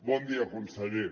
bon dia conseller